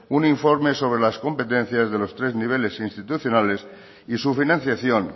un informe sobre las competencias de los tres niveles institucionales y su financiación